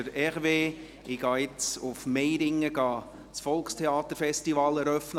Ich gehe jetzt nach Meiringen, um das Volkstheater-Festival zu eröffnen.